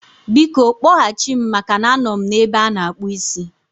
Biko, kpọghachi m maka na anọ m n'ebe ana-akpụ ísí